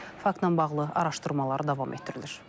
Faktla bağlı araşdırmalar davam etdirilir.